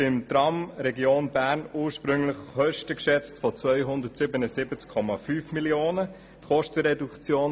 Beim Tram Region Bern schätzte man ursprünglich Kosten in der Höhe von 277,5 Mio. Franken.